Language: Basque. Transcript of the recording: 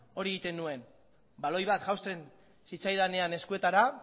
hori egiten nuen baloi bat jausten zitzaidanean eskuetara